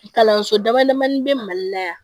Kalanso damadamani bɛ mali la yan